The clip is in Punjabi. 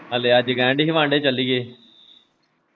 ਹਲੇ ਅੱਜ ਕਹਿਣ ਦੀ ਹੀ ਵਾਂਡੇ ਚੱਲੀਏ ।